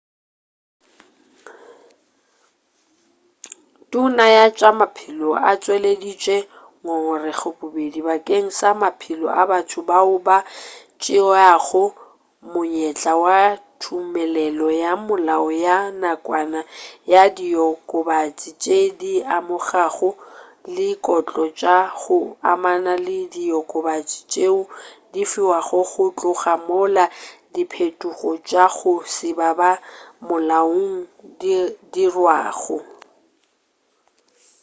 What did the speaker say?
tona ya tša maphelo o tšweleditše ngongorego bobedi bakeng sa maphelo a batho bao ba tšeago monyetla wa tumelelo ya molao ya nakwana ya diokobatši tšeo di amegago le dikotlo tša go amana le diokobatši tšeo di fiwago go tloga mola diphetogo tša go se ba molaong di dirwago